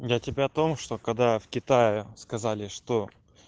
я тебе о том что когда в китае сказали что